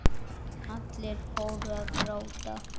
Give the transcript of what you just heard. Allir fóru að gráta.